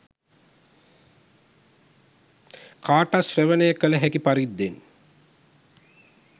කාටත් ශ්‍රවණය කළ හැකි පරිද්දෙන්